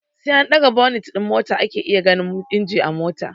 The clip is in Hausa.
Sai an ɗaga bonit din mota ake iya ganin injin mota